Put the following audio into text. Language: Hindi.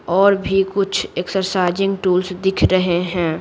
और भी कुछ एक्सरसाइजिंग टूल्स दिख रहे हैं।